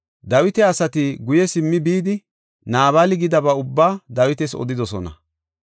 Dawita asati simmi guye bidi Naabali gidaba ubbaa Dawitas odidosona.